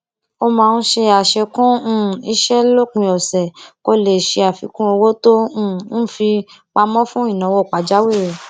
ó máa ń ṣe àṣekún um iṣé lópin òsè kó lè ṣe àfikún owó tó um ń fi pamọ fún ìnáwó pàjáwìrì